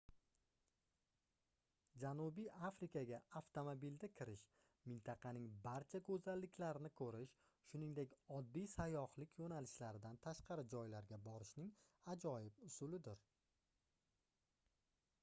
janubiy afrikaga avtomobilda kirish mintaqaning barcha goʻzalliklarini koʻrish shuningdek oddiy sayyohlik yoʻnalishlaridan tashqari joylarga borishning ajoyib usulidir